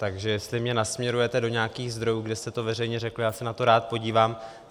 Takže jestli mě nasměrujete do nějakých zdrojů, kde jste to veřejně řekl, já se na to rád podívám.